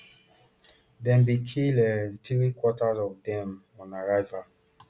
dem bin kill um three quarter of dem on arrival